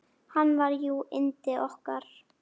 Hann var jú yndið okkar.